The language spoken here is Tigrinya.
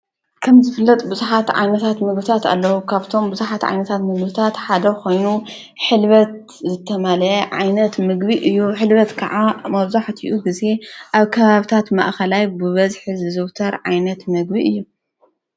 ከም ዘፍለጥ ብዙኃት ዓይንታት ምግብታት ኣለዉ ካብቶም ብዙኃት ዓይነታት ምግብታት ሓደ ኾይኑ ሕልበት ዘተማልየ ዓይነት ምግቢ እዩ ኅልበት ከዓ መዙሕቲኡ ጊዜ ኣብ ከባብታት ማእኸላይ ብበዝሒ ዝዘውተር ዓይነት ምግቢ እዩ።